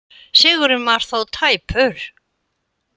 Sigurinn var þó tæpur